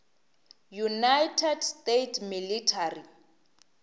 united states military